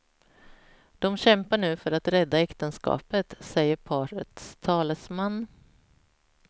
De kämpar nu för att rädda äktenskapet, säger parets talesman.